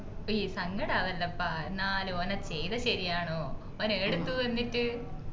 ഉയ്യയ് സങ്കടാവല്ലപ്പാ എന്നാലു ഓന് അത് ചെയ്തത് ശെരിയാണോ ഓൻ ഏടുത്തു എന്നിട്ട്